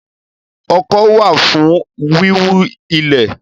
Ọkọ́ wà fún wíwú ilẹ̀